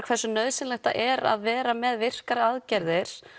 hversu nauðsynlegt það er að vera með virkar aðgerðir